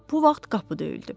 Bu vaxt qapı döyüldü.